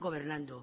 gobernando